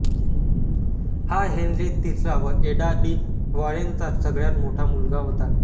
हा हेन्री तिसरा व एडा डि वॉरेनेचा सगळ्यात मोठा मुलगा होता